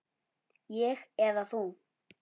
Ég eða þú?